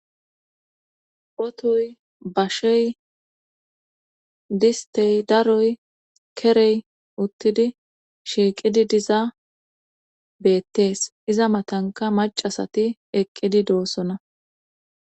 Otoyi basheyi disitey darroyi keriyi utidi shiqidi diza betesi iza matanika maccati eqidi dosona